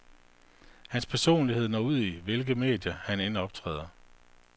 Hans personlighed når ud i hvilke medier, han end optræder.